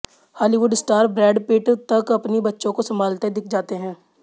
Hollywood star Brad Pitt तक अपनी बच्चों को संभालते दिख जाते हैं